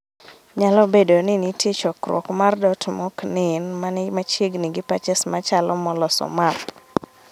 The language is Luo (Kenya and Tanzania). Nyalo bedo ni nitie chokruok mar dot moknen mani machiegni gi patches machalo moloso map